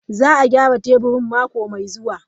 Za a gyara teburin mako mai zuwa.